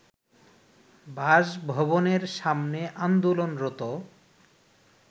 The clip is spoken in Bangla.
বাসভবনের সামনে আন্দোলনরত